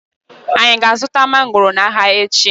Anyị aga-azụta mangoro n'ahia echi?